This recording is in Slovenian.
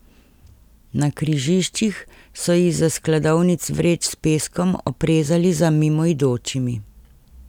Na križiščih so izza skladovnic vreč s peskom oprezali za mimoidočimi.